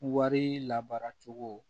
Wari labara cogo